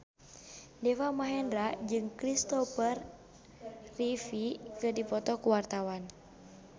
Deva Mahendra jeung Kristopher Reeve keur dipoto ku wartawan